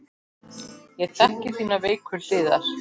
Ég þekki þínar veiku hliðar.